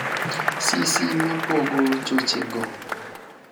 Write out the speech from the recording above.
sisi mapogo chochego